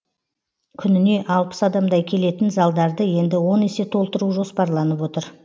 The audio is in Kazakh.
күніне алпыс адамдай келетін залдарды енді он есе толтыру жоспарланып отыр